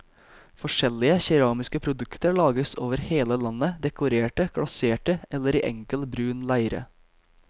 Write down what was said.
Forskjellige keramiske produkter lages over hele landet, dekorerte, glaserte eller i enkel, brun leire.